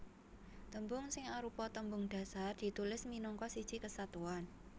Tembung sing arupa tembung dhasar ditulis minangka siji kesatuan